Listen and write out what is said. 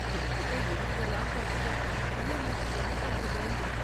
இவன்கிட்ட இருந்ததெல்லாம் கொடுத்துட்டோம், இஎம்ஐ க்கு என்ன பண்றது?